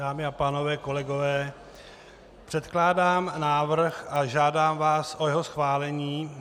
Dámy a pánové, kolegové, předkládám návrh a žádám vás o jeho schválení.